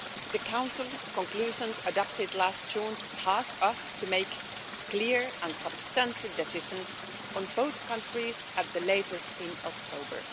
The Council's conclusions, adopted last June, tasked us to make clear and substantive decisions on both countries, at the latest in October.